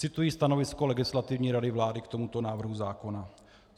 Cituji stanovisko Legislativní rady vlády k tomuto návrhu zákona.